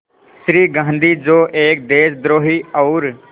श्री गांधी जो एक देशद्रोही और